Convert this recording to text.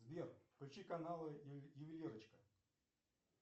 сбер включи каналы ювелирочка